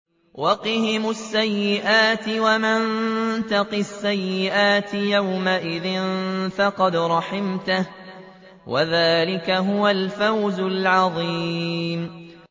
وَقِهِمُ السَّيِّئَاتِ ۚ وَمَن تَقِ السَّيِّئَاتِ يَوْمَئِذٍ فَقَدْ رَحِمْتَهُ ۚ وَذَٰلِكَ هُوَ الْفَوْزُ الْعَظِيمُ